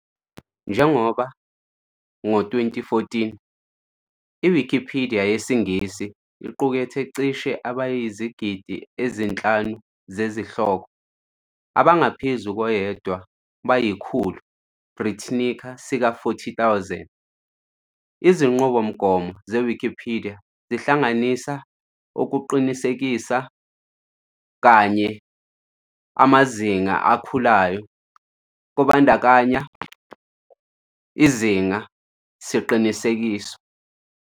Njengoba ka 2014, iwikipidiya yesiNgisi iqukethe cishe abayizigidi ezinhlanu izihloko, abangaphezu koyedwa kayikhulu Britannica sika 40,000. izinqubomgomo zeWikipidiya zihlanganisa ukuqinisekisa kanye nomzimba elikhulayo amazinga kubandakanya for izinga siqinisekiso.